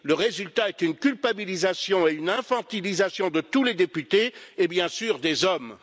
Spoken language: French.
Le résultat est une culpabilisation et une infantilisation de tous les députés et, bien sûr, des hommes.